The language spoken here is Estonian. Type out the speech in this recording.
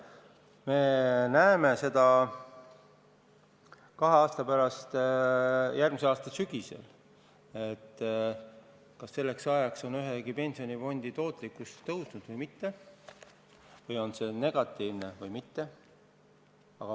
Me näeme seda kahe aasta pärast või juba järgmise aasta sügisel, kas on ühegi pensionifondi tootlikkus tõusnud või mitte, on see negatiivne või mitte.